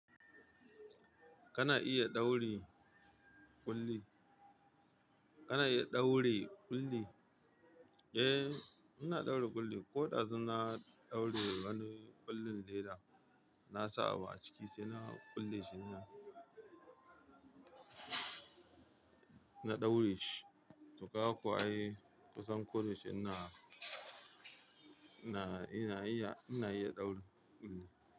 Kana iya ɗaure ƙulli? Kana iya ɗaure ƙulli? Eh, ina ɗaure ƙulli. Ko dazu na ɗaure wani ƙullin leda, na sa abu a ciki sai na ƙulle shi ina, na ɗaure shi. Tu ga kuwa ai kusan ko da yaushe ina, ina, ina iya, ina iya ɗaure ƙulli.